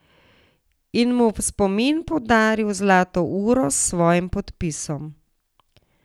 In mu v spomin podaril zlato uro s svojim podpisom.